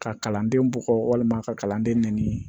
Ka kalanden bɔgɔ walima ka kalanden nɛni